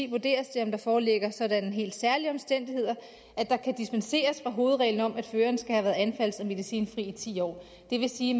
vurderes det om der foreligger sådanne helt særlige omstændigheder at der kan dispenseres fra hovedreglen om at føreren skal have været anfalds og medicinfri i ti år det vil sige